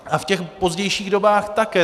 A v těch pozdějších dobách také.